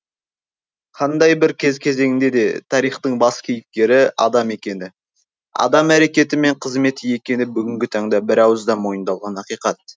қандай бір кез кезеңде де тарихтың бас кейіпкері адам екені адам әрекеті мен қызметі екені бүгінгі таңда бірауыздан мойындалған ақиқат